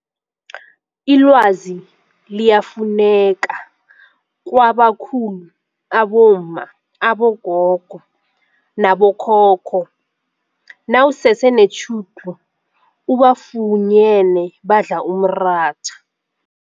Ilwazi liyafunyaneka kwabakhulu abomma, abogogo nabo khokho nawusese netjhudu ubafunyene badla umratha.